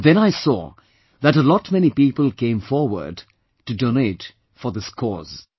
And then I saw that a lot many people came forward to donate for this cause